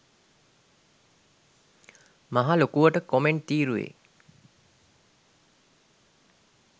මහ ලොකුවට කොමෙන්ට් තීරුවේ